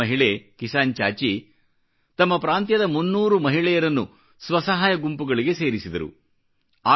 ಈ ರೈತ ಮಹಿಳೆಕಿಸಾನ್ ಚಾಚಿ ತಮ್ಮ ಪ್ರಾಂತ್ಯದ 300 ಮಹಿಳೆಯರನ್ನು ಸ್ವಸಹಾಯ ಗುಂಪುಗಳಿಗೆ ಸೇರಿಸಿದರು